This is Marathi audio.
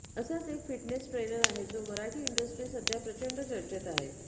असाच एक फिटनेस ट्रेनर आहे जो मराठी इंडस्ट्रीत सध्या प्रचंड चर्चेत आहे